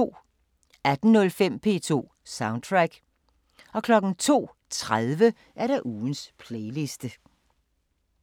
18:05: P2 Soundtrack 02:30: Ugens playliste